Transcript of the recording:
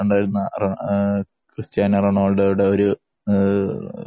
ഉണ്ടായിരുന്ന ക്രിസ്ത്യാനോ റൊണാള്‍ഡോയുടെ ഒരു